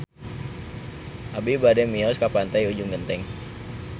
Abi bade mios ka Pantai Ujung Genteng